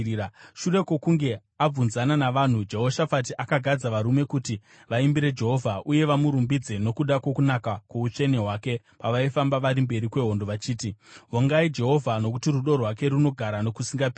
Shure kwokunge abvunzana navanhu, Jehoshafati akagadza varume kuti vaimbire Jehovha uye vamurumbidze nokuda kwokunaka kwoutsvene hwake pavaifamba vari mberi kwehondo, vachiti: “Vongai Jehovha, nokuti rudo rwake runogara nokusingaperi.”